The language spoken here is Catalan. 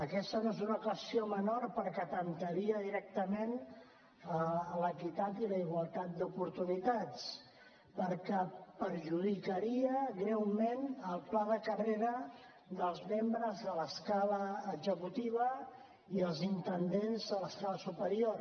aquesta no és una qüestió menor perquè atemptaria directament l’equitat i la igualtat d’oportunitats perquè perjudicaria greument el pla de carrera dels membres de l’escala executiva i els intendents de l’escala superior